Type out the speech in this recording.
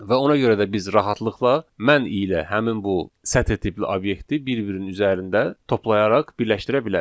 Və ona görə də biz rahatlıqla mən ilə həmin bu sətir tipli obyekti bir-birinin üzərində toplayaraq birləşdirə bilərik.